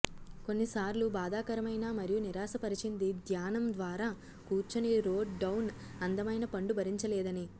కొన్నిసార్లు ఒక బాధాకరమైన మరియు నిరాశపరిచింది ధ్యానం ద్వారా కూర్చొని రోడ్ డౌన్ అందమైన పండు భరించలేదని